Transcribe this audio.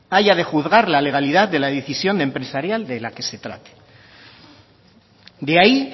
haya de juzgar la legalidad de la decisión empresarial de la que se trate de ahí